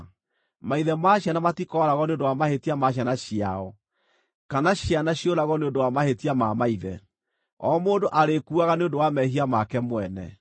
Maithe ma ciana matikooragwo nĩ ũndũ wa mahĩtia ma ciana ciao, kana ciana ciũragwo nĩ ũndũ wa mahĩtia ma maithe; o mũndũ arĩkuaga nĩ ũndũ wa mehia make mwene.